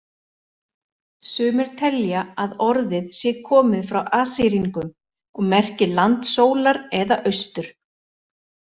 Sumir telja að orðið sé komið frá Assýringum og merki land sólar eða austur.